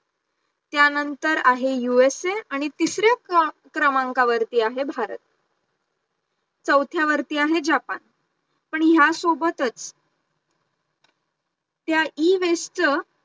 त्यानंतर आहे USA आणि तिसऱ्या क्रमांकावरती आहे भारत, चौथ्यावरती आहे जापान पण ह्या सोबतच त्या Ewaste चं